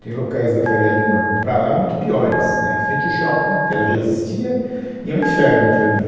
Tem locais da Faria Lima para lá muito piores, né, em frente ao shopping, que ela já existia, e é um inferno aquilo ali.